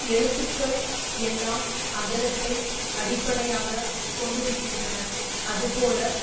எழுத்துக்கள் எல்லாம் அகரத்தை அடிப்படையாக கொண்டிருக்கின்றன அதுபோல